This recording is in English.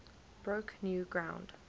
broke new ground